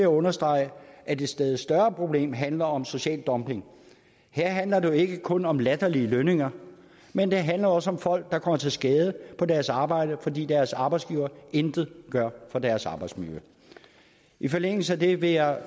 understrege at et stadig større problem handler om social dumping her handler det jo ikke kun om latterlige lønninger men det handler også om folk der kommer til skade på deres arbejde fordi deres arbejdsgiver intet gør for deres arbejdsmiljø i forlængelse af det vil jeg